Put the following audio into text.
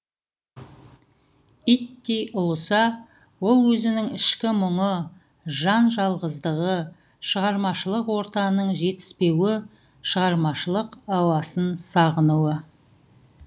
иттей ұлыса ол өзінің ішкі мұңы жан жалғыздығы шығармашылық ортаның жетіспеуі шығармашылық ауасын сағынуы